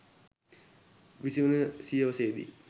විසිවන සියවසේදී